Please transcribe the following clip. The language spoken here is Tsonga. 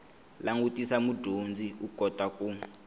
langutisa mudyondzi u kota ku